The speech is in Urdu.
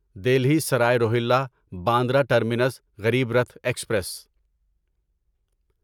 Delhi Sarai Rohilla Bandra terminus Garib Rath express